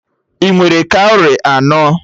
Ị nwere kawrị enọ?